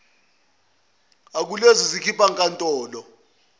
akulezi zinkantolo akhipha